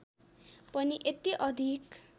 पनि यति अधिक